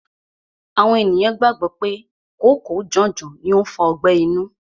Àwọn ènìyàn gbàgbọ́ pé kòóko janjan ni ó ń fa ọgbẹ́ inú.